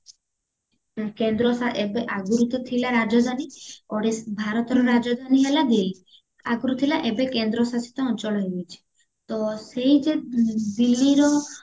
କେନ୍ଦ୍ର ଶାସି ଏବେ ଆଗରୁ ତ ଥିଲା ରାଜଧାନୀ ଓଡିଶ ଭାରତର ରାଜଧାନୀ ହେଲା ଦିଲୀ ଆଗରୁଥିଲା ଏବେ କେନ୍ଦ୍ରଶାସିତ ଅଞ୍ଚଳ ହେଇଯାଇଛି ତ ସେଇ ଯେ ଦିଲୀର